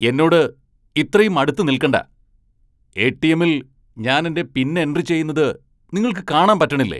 എന്നോട് ഇത്രയും അടുത്ത് നിൽക്കണ്ട ! എ.ടി.എമ്മിൽ ഞാൻ എന്റെ പിൻ എൻട്രി ചെയുന്നത് നിങ്ങൾക്ക് കാണാൻ പറ്റണില്ലേ ?